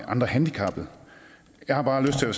andre handicappede jeg har bare lyst til at